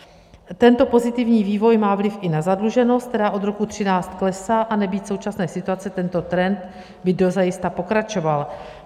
Tento pozitivní vývoj má vliv i na zadluženost, která od roku 2013 klesá, a nebýt současné situace, tento trend by dozajista pokračoval.